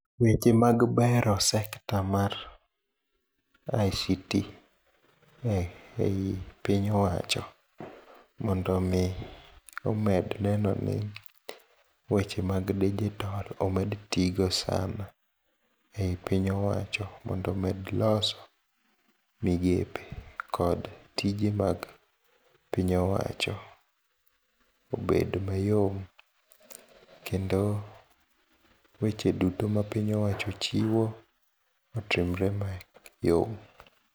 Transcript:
Weche mag bero sekta mar ICT ei piny wacho mondomi obed nenoni weche mag digital omed ti go sana e piny owacho mondo omed loso migepe kod tije mag piny owacho obed mayom kendo weche duto mapiny owacho chiwo otimre mayom.